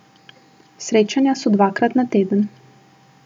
Srečanja so dvakrat na teden.